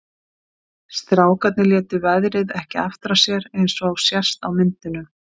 Strákarnir létu veðrið ekki aftra sér eins og sést á myndunum.